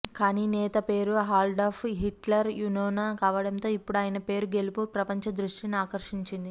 కానీ నేత పేరు అడాల్ఫ్ హిట్లర్ యూనోనా కావడంతో ఇప్పుడు ఆయన పేరు గెలుపు ప్రపంచ దృష్టిని ఆకర్షించింది